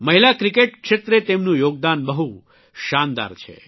મહિલા ક્રિકેટ ક્ષેત્રે તેમનું યોગદાન બહુ શાનદાર છે